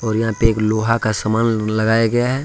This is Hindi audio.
और यहां पे एक लोहा का सामान लगाए गए हैं।